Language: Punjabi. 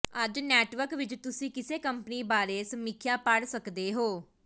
ਅੱਜ ਨੈਟਵਰਕ ਵਿੱਚ ਤੁਸੀਂ ਕਿਸੇ ਕੰਪਨੀ ਬਾਰੇ ਸਮੀਖਿਆ ਪੜ੍ਹ ਸਕਦੇ ਹੋ